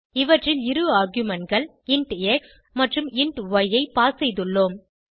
இவற்றில் இரு argumentகள் இன்ட் எக்ஸ் மற்றும் இன்ட் ய் ஐ பாஸ் செய்துள்ளோம்